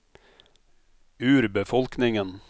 urbefolkningen